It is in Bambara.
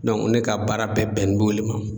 ne ka baara bɛɛ bɛnnen b'o le ma.